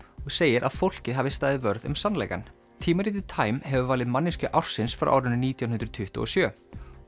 og segir að fólkið hafi staðið vörð um sannleikann tímaritið time hefur valið manneskju ársins frá árinu nítján hundruð tuttugu og sjö